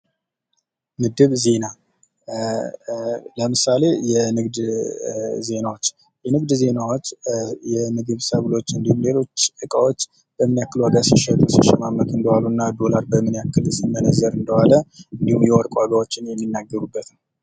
ምድብ ዜና፦ ለምሳሌ የንግድ ዜናዎች የንግድ ዜናዎች የምግብ ሰብሎች እንድሁም ሌሎች እቃዎች በምን ያክል ዋጋ ሲሸጡ ሲሸማመቱ እንደዋሉ እና ዶላር በምን ያክል ሲመነዘር እንደዋለ እንድሁም የወርቅ ዋጋዎችን የሚናገሩበት ነው።